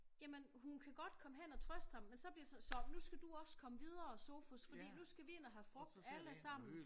Jamen hun kan godt komme hen og trøste ham men så bliver sådan så nu skal du også komme videre Sofus for nu skal vi ind og frugt alle sammen